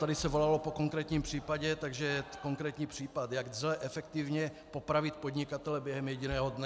Tady se volalo po konkrétním případu, takže konkrétní případ, jak lze efektivně popravit podnikatele během jediného dne.